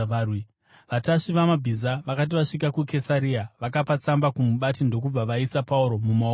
Vatasvi vamabhiza vakati vasvika kuKesaria, vakapa tsamba kumubati ndokubva vaisa Pauro mumaoko ake.